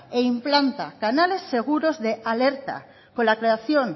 e implanta canales seguros de alerta con la creación